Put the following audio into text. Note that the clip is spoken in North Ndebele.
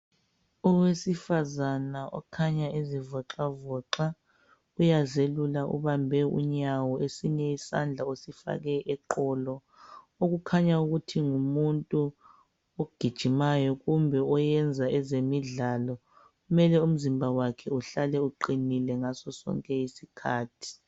Owesifazana okhanya ezivoxavoxa uyazelula ubambe unyawo esinye isandla usifake eqolo. Okukhanya ukuthi ngumuntu ogijimayo kumbe oyenza ezemidlalo mele umzimba wakhe uhlale uqinile ngaso sonke isikhathi.